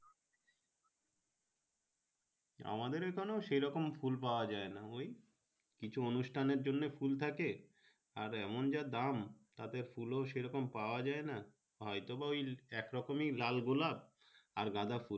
আমাদের এইখানে সেরকম ফুল পাওয়া যাই না ওই কিছু উনস্থানের জন্য ফুল থাকে আর এমন যা দাম তাতে ফুল ও সেইরকম পাওয়া যাই না হয়তো বা ওই একরকম লাল গোলাপ, আর গাঁদাফুল।